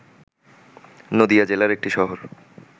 নদীয়া জেলার একটি শহর